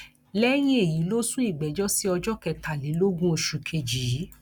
lẹyìn èyí ló sún ìgbẹjọ sí ọjọ kẹtàlélógún oṣù kejì yìí